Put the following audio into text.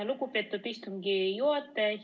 Lugupeetud istungi juhataja!